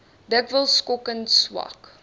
dikwels skokkend swak